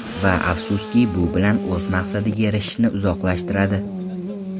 Va afsuski, bu bilan o‘z maqsadiga erishishni uzoqlashtiradi.